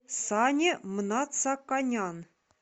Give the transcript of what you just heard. сане мнацаканян